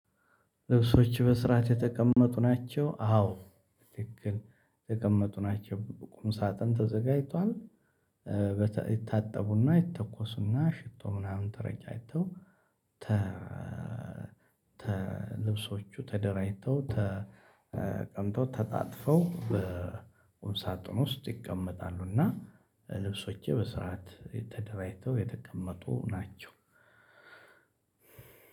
ልብሶችህ በስርዓት የተቀመጡ ናቸው? አዎ ትክክል የተቀመጡ ናቸው። ቁም ሳጥን ተዘጋጅቷል ይታጠቡና ይተኮሱና ሽቶ ምናምን ተረጫጭተው። ልብሶቹ ተደራጅተው ተቀምጠው ተጣጥፈው በሳጥን ውስጥ ይቀመጣሉ። እና ልብሶቼ በስርዓት የተደራጅተው የተቀመጡ ናቸው።